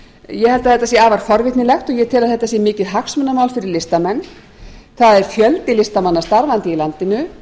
ég held að þetta sé afar forvitnilegt og ég tel að þetta sé mikið hagsmunamál fyrir listamenn það er fjöldi listamanna starfandi í landinu